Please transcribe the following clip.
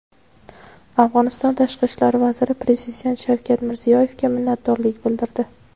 Afg‘oniston tashqi ishlar vaziri prezident Shavkat Mirziyoyevga minnatdorlik bildirdi.